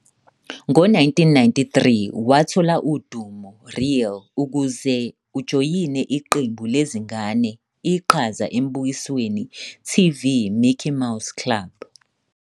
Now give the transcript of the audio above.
Ngo-1993 wathola udumo real ukuze ujoyine iqembu lezingane iqhaza embukisweni TV Mickey Mouse Club.